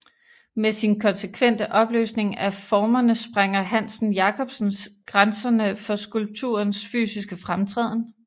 Med sin konsekvente opløsning af formerne sprænger Hansen Jacobsen grænserne for skulpturens fysiske fremtræden